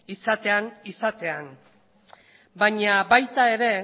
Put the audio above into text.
izatean baina baita ere